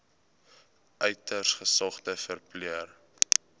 uiters gesogde verpleër